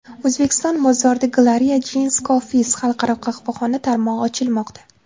O‘zbekiston bozorida Gloria Jean’s Coffees xalqaro qahvaxona tarmog‘i ochilmoqda.